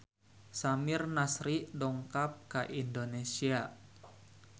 Samir Nasri dongkap ka Indonesia